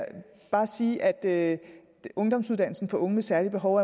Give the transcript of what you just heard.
bare sige at ungdomsuddannelsen for unge med særlige behov